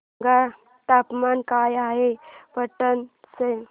सांगा तापमान काय आहे पाटणा चे